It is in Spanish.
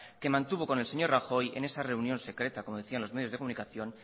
que mantuvo con el señor rajoy en esa reunión secreta como decían los medios de comunicación